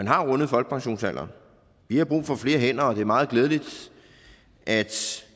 har rundet folkepensionsalderen vi har brug for flere hænder og det er meget glædeligt at